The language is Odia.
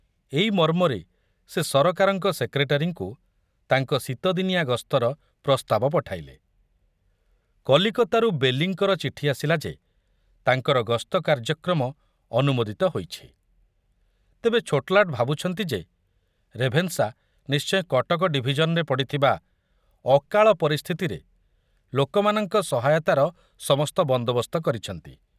ଏଇ ମର୍ମରେ ସେ ସରକାରଙ୍କ ସେକ୍ରେଟାରୀଙ୍କୁ ତାଙ୍କ ଶୀତଦିନିଆ ଗସ୍ତର ପ୍ରସ୍ତାବ ପଠାଇଲେ। କଲିକତାରୁ ବେଲିଙ୍କର ଚିଠି ଆସିଲା ଯେ ତାଙ୍କର ଗସ୍ତ କାର୍ଯ୍ୟକ୍ରମ ଅନୁମୋଦିତ ହୋଇଛି, ତେବେ ଛୋଟଲାଟ ଭାବୁଛନ୍ତି ଯେ ରେଭେନ୍ସା ନିଶ୍ଚୟ କଟକ ଡିଭିଜନରେ ପଡ଼ିଥିବା ଅକାଳ ପରିସ୍ଥିତିରେ ଲୋକମାନଙ୍କ ସହାୟତାର ସମସ୍ତ ବନ୍ଦୋବସ୍ତ କରିଛନ୍ତି।